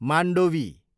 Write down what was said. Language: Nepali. मान्डोवी